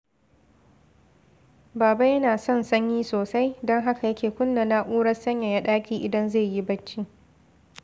Baba yana son sanyi sosai, don haka yake kunna na’urar sanyaya ɗaki idan zai yi bacci